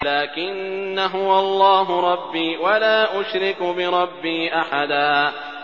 لَّٰكِنَّا هُوَ اللَّهُ رَبِّي وَلَا أُشْرِكُ بِرَبِّي أَحَدًا